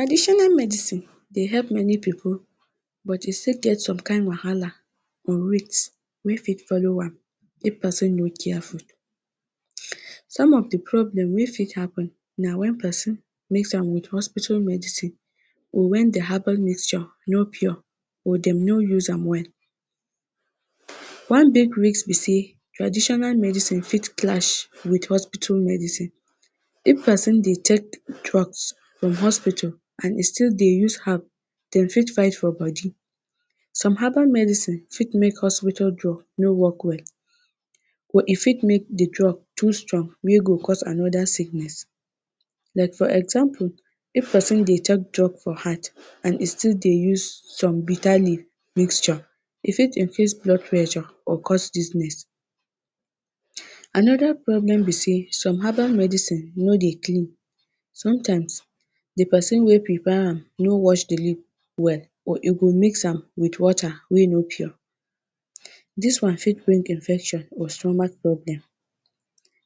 Traditional medicine dey help many pipu, but e still get some kind wahala wey fit follow am if pesin no careful, some of di problem wey fit happen na wen pesin mix am with hospital medicine wen di herbal mixture no pure or, dem no use am well .one big risk bi say traditional medicine fit clash with hospital medicine. If pesin dey tek drugs from hospital and he still dey use herb, dey fit fight for body. Some herbal medicine fit mek no work well. Or e fit mek di drug too strong wey go cause anoda sickness. Like for example, if pesin dey tek drugs for heart and he still dey use some bitter leaf mixture, e fit increase blood pressure or cause dizzness. Anoda problem bi say some herbal medicine no dey clean, sometimes, di pesin wey bi buy am no wash the leaf well or e go mix am with water wey no pure, dis one fit bring infection or stomach problem,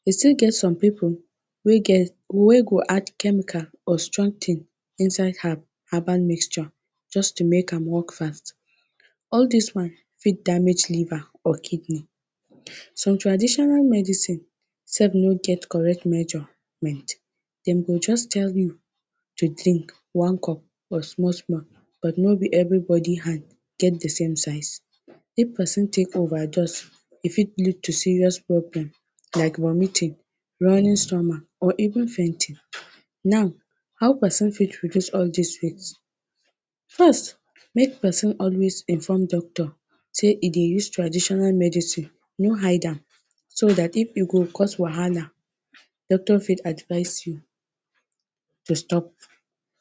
e still get some pipu wey get, wey go add chemical or strong tin inside herb herbal mixture just to mek am work fast. All dis one fit damage liver or kidney. Some traditional medicine sef no get correct measurement, dem go just tell you to tek one cup small small, but no bi everybody hand get di same size. If pesin tek overdose, e fit lead to serious problem like vomiting, running stomach or even fainting. Now, how pesin fit reduce all dis risk? First, mek pesin always inform doctor say he dey use traditional medicine, no hide am, so that if e go cause wahala, doctor fit advise you to stop.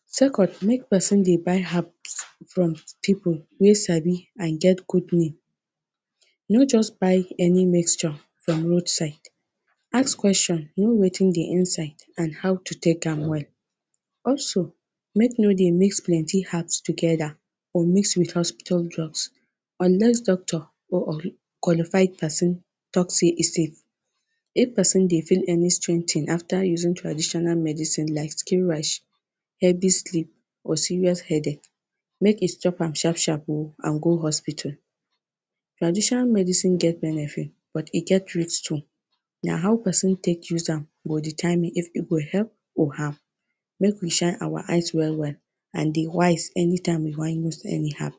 Second, mek pesin dey buy herb from pipu wey sabi no just buy any mixture from road side. Ask question, know wetin dey inside and how to tek am well. Also, mek no dey mix plenti herbs togeda or mix with hospital drugs unless doctor or qualified pesin talk say e safe if pesin dey feel any strange tin afta using traditional medicine like skin rash or serious headache, mek he stop am sharp, sharp o and go hospital. Traditional medicine get benefit but e get too. Na how pesin tek use am go determine if e go help or harm. Mek we shine our eyes well, well and dey wise anytime we wan use anyhow.